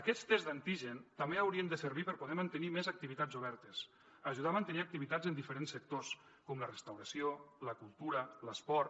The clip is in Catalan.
aquests tests d’antígens també haurien de servir per poder mantenir més activitats obertes ajudar a mantenir activitats en diferents sectors com la restauració la cultura l’esport